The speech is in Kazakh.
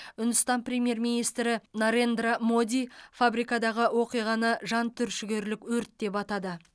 үндістан премьер министрі нарендра моди фабрикадағы оқиғаны жан түршігерлік өрт деп атады